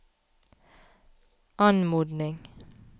anmodning